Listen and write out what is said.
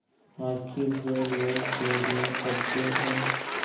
आखिर जो लोग चोरियॉँ करते हैं